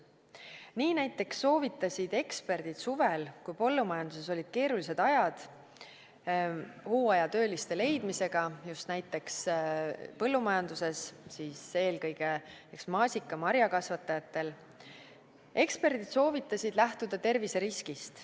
Nii näiteks soovitasid eksperdid suvel, kui põllumajanduses olid keerulised ajad hooajatööliste leidmisega, eelkõige maasika- ja teistel marjakasvatajatel, lähtuda terviseriskist.